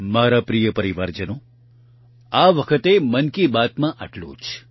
મારા પ્રિય પરિવારજનો આ વખતે મન કી બાતમાં આટલું જ